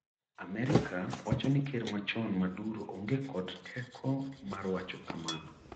America wacho ni ker machon Maduro onge kod teko mar wacho kmano.